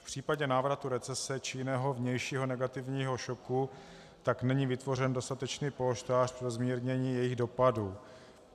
V případě návratu recese či jiného vnějšího negativního šoku tak není vytvořen dostatečný polštář pro zmírnění jejich dopadů.